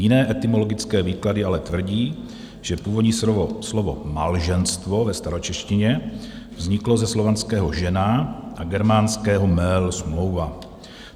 Jiné etymologické výklady ale tvrdí, že původní slovo malženstvo ve staročeštině vzniklo ze slovanského žena a germánského mel - smlouva.